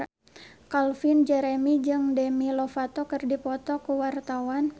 Calvin Jeremy jeung Demi Lovato keur dipoto ku wartawan